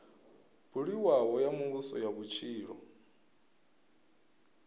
buliwaho ya muvhuso ya vhutshilo